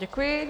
Děkuji.